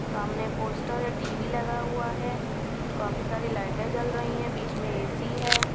सामने पोस्टर और टी_वी लगा हुआ है काफी सारे लाइटें जल रही हैं बीच में ए_सी है।